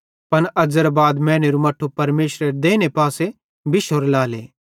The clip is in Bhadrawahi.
पन अज़ेरां बाद मैनेरू मट्ठू परमेशरेरे देइने पासे बिशोरू लाएले